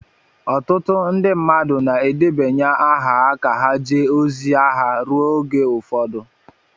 ọtụtụ ndị mmadụ na-edebanye aha ka ha jee ozi agha ruo oge ụfọdụ